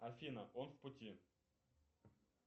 афина он в пути